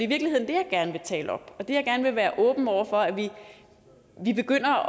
virkeligheden det jeg gerne vil tale op jeg vil gerne være åben over for at vi begynder